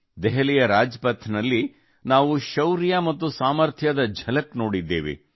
ದೆಹಲಿಯ ರಾಜ್ ಪಥ್ ದಲ್ಲಿ ನಾವು ಶೌರ್ಯ ಮತ್ತು ಸಾಮರ್ಥ್ಯದ ಝಲಕ್ ನೋಡಿದ್ದೇವೆ